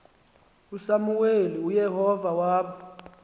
usamuweli uyehova waba